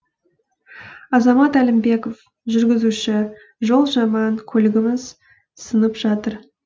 азамат әлімбеков жүргізуші жол жаман көлігіміз сынып жатыр